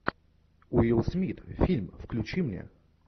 уилл смит фильм включи мне